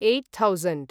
eight thousand